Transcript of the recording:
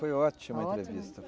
Foi ótima a entrevista.